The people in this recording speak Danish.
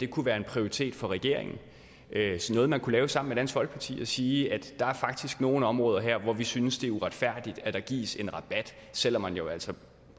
kunne være en prioritet for regeringen altså noget man kunne lave sammen med dansk folkeparti og sige at der faktisk er nogle områder her hvor vi synes det er uretfærdigt at der gives en rabat selv om man jo altså